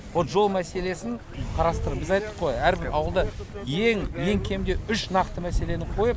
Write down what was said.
ол жол мәселесін қарастырып біз айттық қой әрбір ауылда ең ең кемде үш нақты мәселені қойып